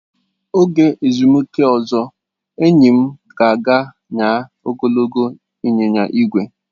Oge ezumike ozo, enyi m ga aga nyaa ogologo ịnyịnya ígwè.